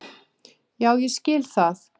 Já ég skil það.